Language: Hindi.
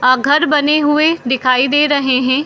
अ घर बने हुए दिखाई दे रहे हैं।